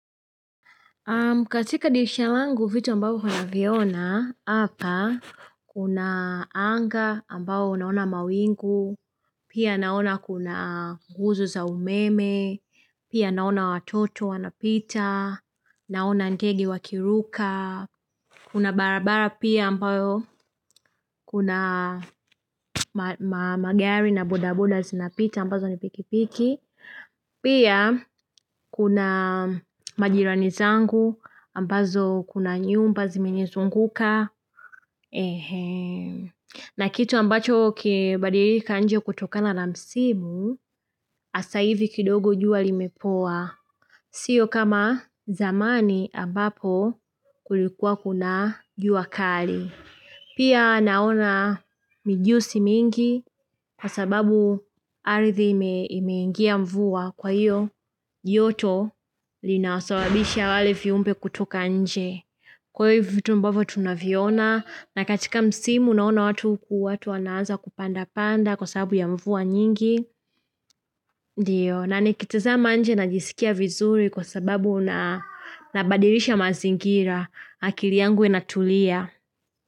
Katika dishira langu vitu ambayo huwa naviona, hapa, kuna anga ambao naona mawingu, pia naona kuna nguzo za umeme, pia naona watoto wanapita, naona ndege wakiruka, kuna barabara pia ambayo kuna magari na bodaboda zinapita ambazo ni pikipiki. Pia kuna majirani zangu ambazo kuna nyumba zimenizunguka. Na kitu ambacho kimebadilika nje kutokana na msimu hasa hivi kidogo jua limepoa. Sio kama zamani ambapo kulikuwa kuna jua kali. Pia naona mijusi mingi kwa sababu ardhi imeingia mvua kwa hiyo joto linawasababisha wale viumbe kutoka nje. Kwa hivo vitu ambavyo tunaviona na katika msimu naona watu huku watu wanaanza kupandapanda kwa sababu ya mvua nyingi. Ndiyo na nikitazama nje najisikia vizuri kwa sababu nabadirisha mazingira akili yangu inatulia.